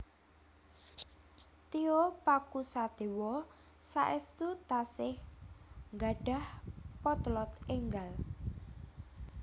Tio Pakusadewo saestu tasih nggadhah potlot enggal